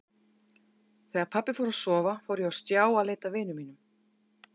Þegar pabbi fór að sofa fór ég á stjá að leita að vinum mínum.